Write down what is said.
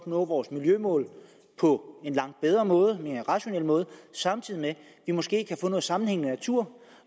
nå vores miljømål på en langt bedre måde og en mere rationel måde samtidig med at vi måske kan få noget sammenhængende natur